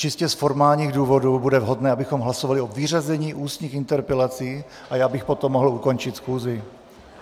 Čistě z formálních důvodů bude vhodné, abychom hlasovali o vyřazení ústních interpelací, a já bych potom mohl ukončit schůzi.